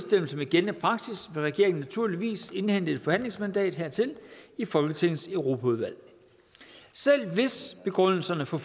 med gældende praksis vil regeringen naturligvis indhente et forhandlingsmandat hertil i folketingets europaudvalg selv hvis begrundelserne for